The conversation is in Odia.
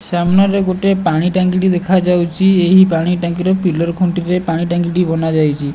ସାମ୍ନାରେ ଗୋଟେ ପାଣି ଟାଙ୍କିଟେ ଦେଖାଯାଉଚି ଏହି ପାଣି ଟାଙ୍କିରେ ପିଲର ଖୁଣ୍ଟି ପାଇଁ ପାଣି ଟାଙ୍କିଟି ବନାଯାଇଛି।